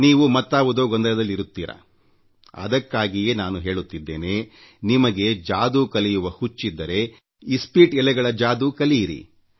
ನೀವು ಮತ್ತಾವುದೋ ಗೊಂದಲದಲ್ಲಿರುತ್ತೀರಾ ಅದಕ್ಕಾಗಿಯೇ ನಾನು ಹೇಳುತ್ತಿದ್ದೇನೆ ನಿಮಗೆ ಮ್ಯಾಜಿಕ್ ಕಲಿಯುವ ಆಸೆಯಿದ್ದರೆ ಇಸ್ಪೀಟ್ ಎಲೆಗಳ ಮ್ಯಾಜಿಕ್ ಕಲಿಯಿರಿ